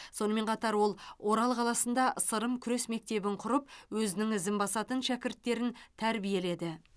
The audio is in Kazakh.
сонымен қатар ол орал қаласында сырым күрес мектебін құрып өзінің ізін басатын шәкірттерін тәрбиеледі